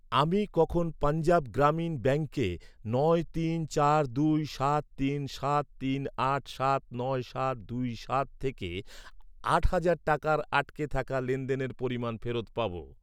আমি কখন পঞ্জাব গ্রামীণ ব্যাঙ্কে নয় তিন চার দুই সাত তিন সাত তিন আট সাত নয় সাত দুই সাত থেকে আট হাজার টাকার আটকে থাকা লেনদেনের পরিমাণ ফেরত পাব?